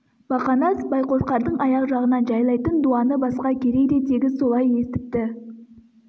бақанас байқошқардың аяқ жағын жайлайтын дуаны басқа керей де тегіс солай естіпті